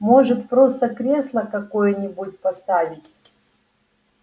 может просто кресло какое-нибудь поставить